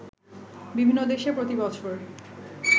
বিভিন্ন দেশে প্রতি বছর